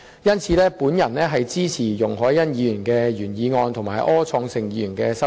因此，我支持容海恩議員的原議案和柯創盛議員的修正案。